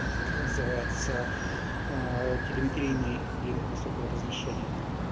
это как называется телеметрийный линк высокого разрешения